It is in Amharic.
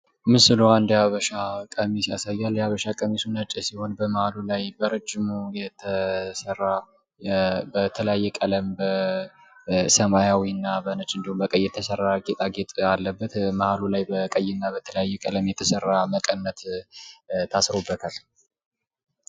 ምስሉ አንድ የሀበሻ ቀሚስ ያሳያል። የሀበሻ ቀሚሱ ነጭ ሲሆን በመሀሉ ላይ በረዥሙ የተሰራ በተለያየ ቀለም በሰማያዊ እና ቢጫ ቀለም የተሰራ ጌጣጌጥ አለበት። መሀሉ ላይ በቀይና በተለያየ ቀለም በተሰራ መቀነት ታስሮበታል።